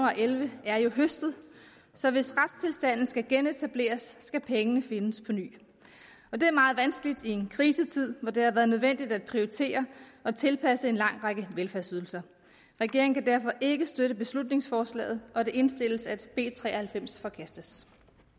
og elleve er jo høstet så hvis retstilstanden skal genetableres skal pengene findes på ny og det er meget vanskeligt i en krisetid hvor det har været nødvendigt at prioritere og tilpasse en lang række velfærdsydelser regeringen kan derfor ikke støtte beslutningsforslaget og det indstilles at b tre og halvfems forkastes